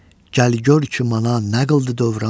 Gəl gör ki mana nə qıldı dövran.